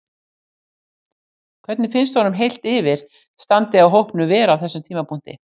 Hvernig finnst honum heilt yfir standið á hópnum vera á þessum tímapunkti?